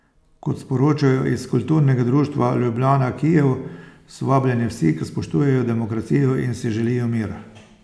Kot sporočajo iz Kulturnega društva Ljubljana Kijev, so vabljeni vsi, ki spoštujejo demokracijo in si želijo mir.